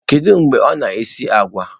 Kedu mgbe ọ na-esi agwa?